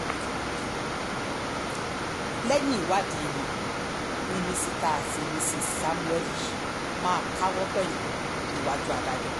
lẹ́yìn ìwádìí wọn ni mísítà àti míṣíìsì sámúẹ́lì yìí máa káwọn pọ̀yìn rojọ́ níwájú adájọ́